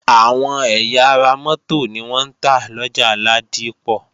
Àwọn ẹ̀yà ara mótò ni wọ́n ń tà lọjà Ládípọ̀